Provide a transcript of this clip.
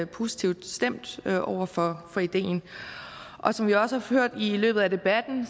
positivt stemt over for for ideen og som vi også har hørt i løbet af debatten